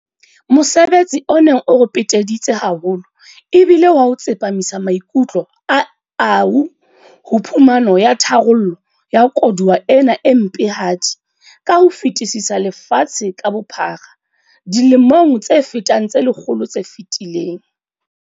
Mosebetsi o neng o re peteditse haholo e bile wa ho tsepamisa maikutlo a AU ho phumano ya tharollo ya koduwa ena e mpehadi ka ho fetisisa lefatshe ka bophara dilemong tse fetang tse lekgolo tse fetileng.